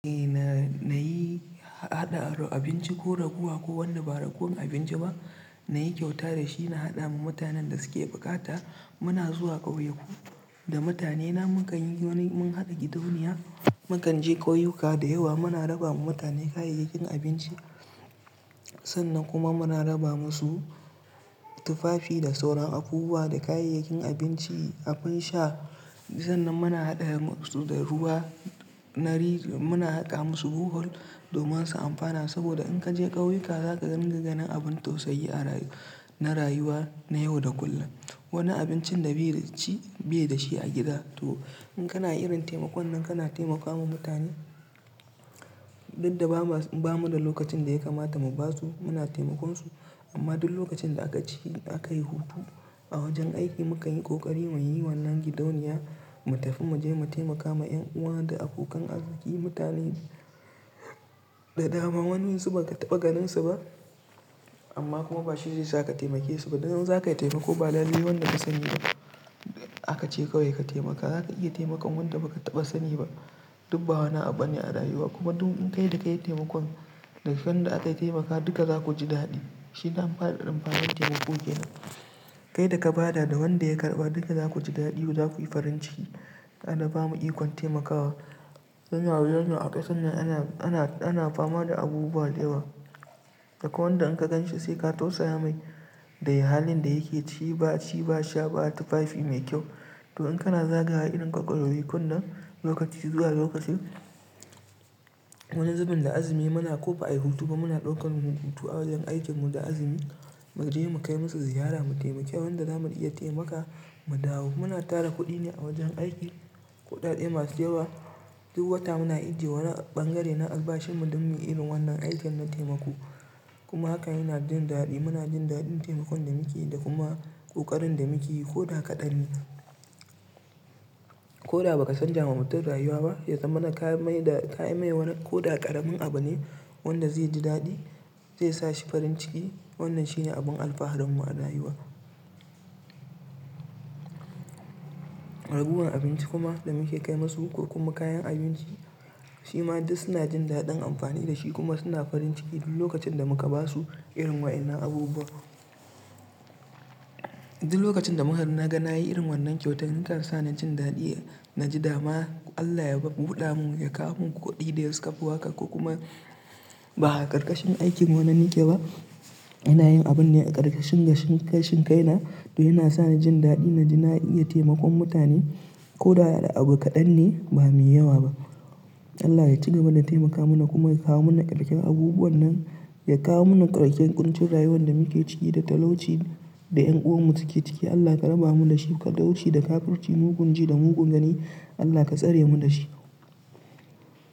Eh na, nayi haɗa abinci ko raguwa ko wanda ba ragowan abinci ba, na yi kyauta da shi na haɗa ma mutanen da suke buƙata. Muna zuwa ƙauyaku da mutanena, mukanyi wani, mun hada gidauniya, mukan je ƙauyuka da yawa, muna raba wa mutane kayayyakin abinci, sannan kuma muna raba masu tufafi da sauran abubuwa da kayayyakin abinci, abin sha, Sannan muna haɗa masu da ruwa, muna haƙa masu bohol domin su amfana, saboda in ka je ƙauyuka za ka dun ga ganin abun tausayi-- na rayuwa, na yau da kullum. Wani abincin da bai dashi a gida, to in kana irin taimakon nan kana taimakawa mutane, duk da bamu da lokacin da ya kamata mu ba su, muna taimakon su, amma duk lokacin da aka yi hutu a wajen aiki mukan yi ƙoƙari mu yi wannan gidauniya, mu tafi mu je mu taimaka ma ƴan uwa da abokan arziki, mutane da dama, wa'insu ba ka taɓa ganinsu ba, amma kuma ba shi zai sa ka taimake su ba. Dan in za kai taimako ba lalai wanda ka sani ba, aka ce kawai ka taimaka. Za ka iya taimakon wanda ba ka taɓa sani ba, duk ba wani abu bane a rayuwa, kuma duk, kai da ka yi taimakon da wanda aka taimaka duka za ku ji daɗi. Shi dan amfanin, amfanin taimako ke nan. Kai da ka ba da, da wanda ya karɓa duka za ku ji daɗi, za ku yi farin ciki. Allah bamu ikon taimakawa. Dan rayuwar nan a ƙasar nan, ana fama da abubuwa da yawa, da kwai wanda in ka gan shi sai ka tausaya mai, da halin da yake ciki, ba ci ba sha, ba tufafi mai kyau. To in kana zagawa irin ƙauyakun nan, lokaci zuwa lokaci, wani zubin da azumi muna ko ba ayi hutu ba muna ɗaukan hutu a wajen aikin mu da azumi mu je mu kai musu ziyara mu taimaki wan da zamu iya taimaka mu dawo. Muna tara kuɗi ne a wajen aiki, kuɗaɗe masu yawa, duk wata muna ajjiye wani ɓangare na albashin mu don muyi irin wannan aikin na taimako, kuma hakan yana jin daɗi. Muna jin daɗin taimakon da muke yi da kuma ƙoƙarin da muke yi ko da kaɗan ne. Ko da ba ka san ja wa mutum rayuwa ba, ya zama na ka mai da, kayi mai wani, koda ƙaramin abu ne, wanda zai ji daɗi, zai sa shi farin ciki, wannan shine abin alfaharin mu a rayuwa. Ragowar abinci kuma, da muke kai musu, ko kuma kayan abinci, shi ma duk suna jin daɗin amfani da shi kuma suna farin ciki duk lokacin da muka ba su irin waƴannan abubuwan. Duk lokacin da muka, na ga na yi irin wannan kyautan ya kan sa na jin daɗi, na ji dama Allah ya buɗa mun ya kawo mun kuɗi da ya, sukafi haka ko kuma ba'a ƙarƙashin aikin wani nike ba. Ina yin abun ne a ƙarƙashin, gashin kai na, to yana sa ni jin daɗi na ji na iya taimakon mutane ko da da abu kaɗan ne ba mai yawa ba. Allah ya cigaba da taimaka mana kuma ya kawo mana ƙarken abubuwan nan, ya kawo mana ƙarken ƙuncin rayuwan da muke ciki da talauci, da ƴan uwan mu suke ciki. Allah ka raba mu da shi, talauci da kafurci mugun ji da mugun gani, Allah ka tsare mu da shi.